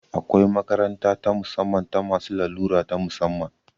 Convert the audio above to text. Akwai makaranta ta musamman ta masu larura ta musamman